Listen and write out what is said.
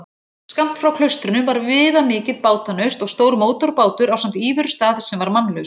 Skammt frá klaustrinu var viðamikið bátanaust og stór mótorbátur ásamt íverustað sem var mannlaus.